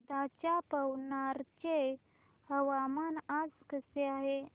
वर्ध्याच्या पवनार चे हवामान आज कसे आहे